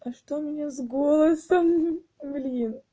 а что у меня с голосом блин